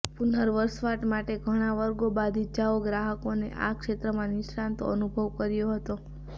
પુનર્વસવાટ માટે ઘણા વર્ગો બાદ ઇજાઓ ગ્રાહકોને આ ક્ષેત્રમાં નિષ્ણાતો અનુભવ કર્યો હતો